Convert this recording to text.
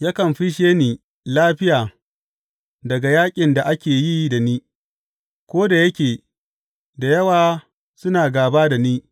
Yakan fisshe ni lafiya daga yaƙin da ake yi da ni, ko da yake da yawa suna gāba da ni.